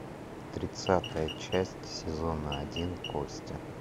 тридцатая часть сезона один кости